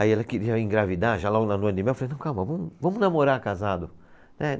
Aí ela queria engravidar, já logo na lua de mel, eu falei, não, calma, vamos vamos namorar casado. É